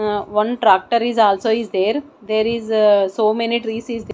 one tractor is also is there there is so many trees is the--